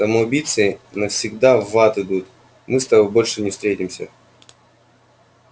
самоубийцы навсегда в ад идут мы с тобой больше не встретимся